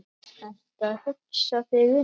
Ertu að hugsa þig um?